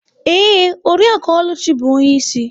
Ee, Oriakụ Oluchi bụ onye isi.